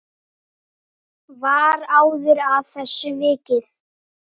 Var áður að þessu vikið.